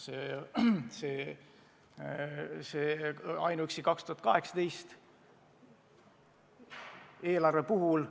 See käib ainuüksi 2018. aasta eelarve kohta.